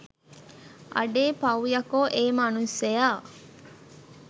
අඩේ පවු යකෝ ඒ මනුස්සයා